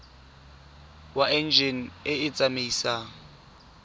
wa enjine e e tsamaisang